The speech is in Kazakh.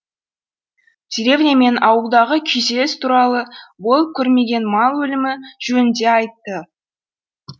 деревня мен ауылдағы күйзеліс туралы болып көрмеген мал өлімі жөнінде айтты